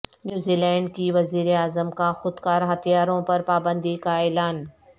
نیوزی Zealand کی وزیراعظم کا خود کار ہتھیاروں پر پابندی کا اعلان